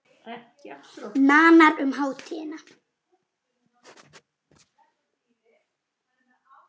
Nánar um hátíðina